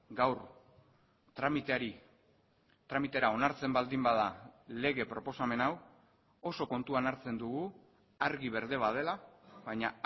gaur tramiteari tramitera onartzen baldin bada lege proposamen hau oso kontuan hartzen dugu argi berde bat dela baina